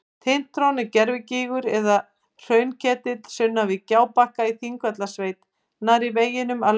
Tintron er gervigígur eða hraunketill sunnan við Gjábakka í Þingvallasveit nærri veginum að Laugarvatni.